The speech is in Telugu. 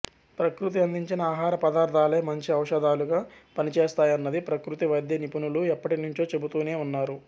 ప్రకృతి అందించిన ఆహార పదార్థాలే మంచి ఔషధాలుగా పనిచేస్తాయన్నది ప్రకృతి వైద్య నిపుణులు ఎప్పటినుంచో చెబుతూనే ఉన్నారు